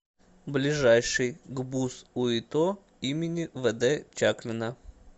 ближайший гбуз уито им вд чаклина